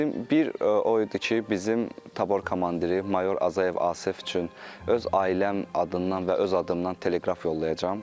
Dedim, bir o idi ki, bizim tabor komandiri mayor Azayev Asif üçün öz ailəm adından və öz adımdan teleqraf yollayacam.